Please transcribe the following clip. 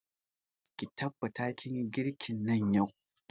Ki tabbata kin yi girkin nan yau!